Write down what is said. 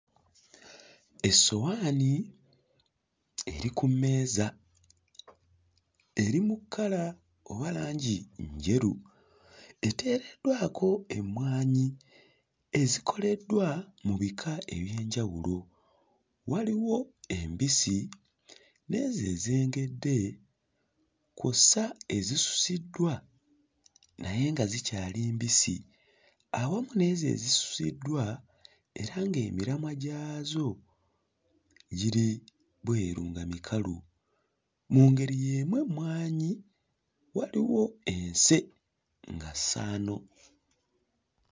Essowaani eri ku mmeeza eri mu kkala oba langi njeru, eteereddwako emmwanyi ezikoleddwa mu bika eby'enjawulo, waliwo embisi n'ezo ezengedde kw'ossa ezisusiddwa naye nga zikyali mbisi awamu n'ezo ezisusiddwa era nga emiramwa gyazo giri bweru nga mikalu, mu ngeri y'emu emmwanyi waliwo ense, nga ssaano.